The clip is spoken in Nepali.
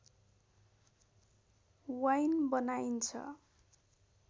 वाइन बनाइन्छ